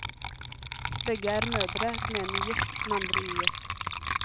Begge er mødre, den ene gift, den andre ugift.